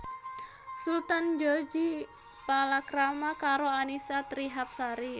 Sultan Djorghi palakrama karo Annisa Trihapsari